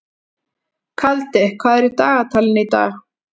Kaldi, hvað er í dagatalinu í dag?